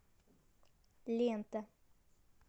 лента